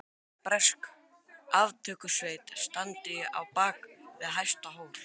Óttast stöðugt að bresk aftökusveit standi á bak við næsta hól.